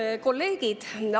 Head kolleegid!